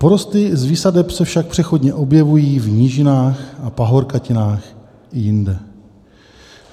Porosty z výsadeb se však přechodně objevují v nížinách a pahorkatinách i jinde.